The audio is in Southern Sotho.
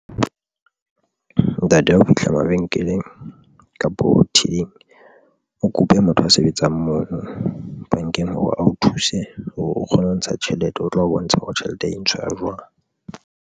Ntate hao fihla mabenkeleng kapo tilling, o kope motho a sebetsang mono bankeng hore a o thuse, o kgone ho ntsha tjhelete, o tlo o bontsha hore tjhelete e ntshwa jwang.